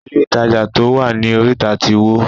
Ilé ìtajà to wá ní orita tí wó.